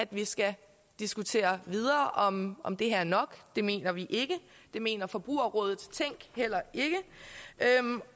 vi skal diskutere videre om om det her er nok det mener vi ikke det mener forbrugerrådet tænk heller ikke